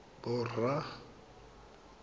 borra